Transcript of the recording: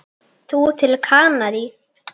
Þú til Kanarí?